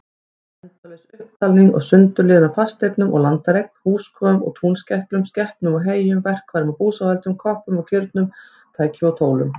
Endalaus upptalning og sundurliðun á fasteignum og landareign, húskofum og túnskæklum, skepnum og heyjum, verkfærum og búsáhöldum, koppum og kirnum, tækjum og tólum.